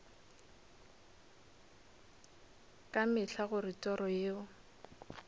ka mehla gore toro yeo